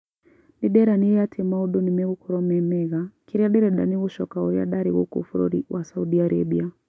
Nĩnderanĩre atĩ maũndũ nĩmegũkorwo memega kĩrĩa ndĩrenda nĩ gũcooka ũrĩa ndarĩ gũkũ bũrũri wa Saudi Arabia